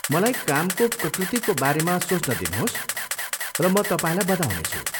मलाई कामको प्रकृतिको बारेमा सोच्न दिनुहोस् र म तपाईँलाई बताउनेछु।